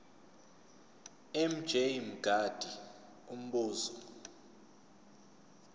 mj mngadi umbuzo